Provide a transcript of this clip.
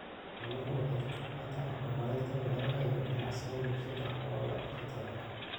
Xooluhu waxay ka qaybqaataan horumarinta beeraha iyo ganacsiga bulshada xoolo-dhaqatada ah.